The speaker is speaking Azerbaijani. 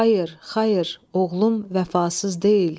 Xayır, xayır, oğlum vəfasız deyil.